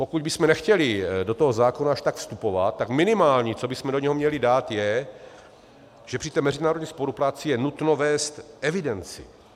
Pokud bychom nechtěli do toho zákona až tak vstupovat, tak minimální, co bychom do něho měli dát, je, že při té mezinárodní spolupráci je nutno vést evidenci.